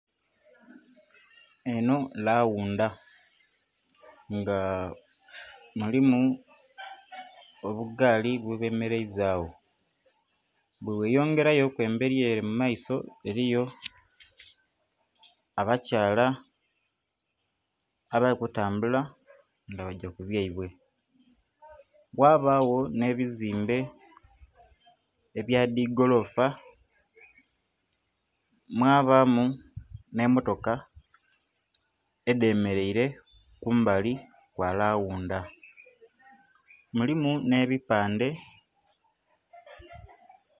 Eno lawunda nga mulimu obugaali bwebemeleiza gho. Bweweyongerayo ku embeli ele mu maiso eliyo abakyala abali kutambula nga bagya ku byaibwe, ghabagho nh'ebizimbe ebya dhigoloofa, mwabamu n'emmotoka edhemeleire kumbali kwa lawunda, mulimu n'ebipandhe.